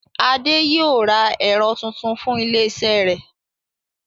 Adé yóò ra ẹ̀rọ tuntun fún ilé iṣẹ́ rẹ̀